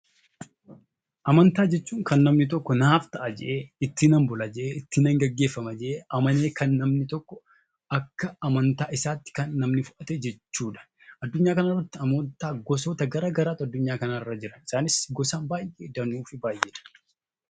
Amantaa jechuun kan namni tokko naaf ta'a jedhee, ittiinan Bula jedhee, ittiinan gaggeeffama jedhee amanee akka amantaa isaatti kan fudhatee jechuudha. Addunyaa kanarra amantaa gosoota garagaraatu Jira.